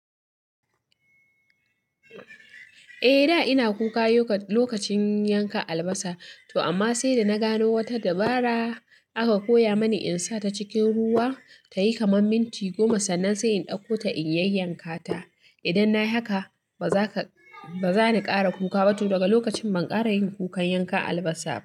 Eh, da ina kuka lokacin yanka albasa. To amma sai da na gano wata dabara aka koya mani in sa ta cikin ruwa ta yi kamar minti goma, sannan sai in ɗauko ta in yayyanka ta. Idan na yi haka, ba za ni ƙara kuka ba to daga lokacin ban ƙara yin kukan yanka albasa ba.